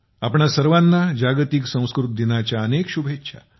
आपणा सर्वांना जागतिक संस्कृत दिनाच्या खूप खूप शुभेच्छा